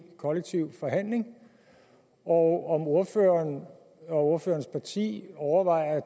kollektiv forhandling og om ordføreren og ordførerens parti overvejer at